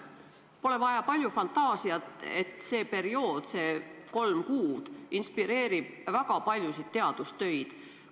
Pole vaja palju fantaasiat, et öelda, et see kolmekuuline periood annab inspiratsiooni väga paljudeks teadustöödeks.